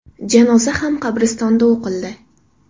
Janoza ham qabristonda o‘qildi.